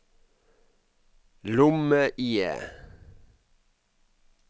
lomme-IE